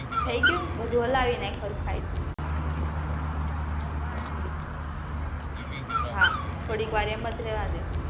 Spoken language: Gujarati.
થઈ ગયું બધુ હલાવી નાખ હરખાઈ હા થોડીક વાર એમજ રહેવા દે